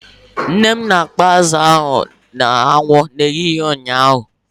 Nne m na-akpọ azụ ahụ n'anwụ n'ehihie ụnyaahụ.